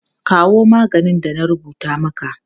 Kawo maganin da na rubuta maka!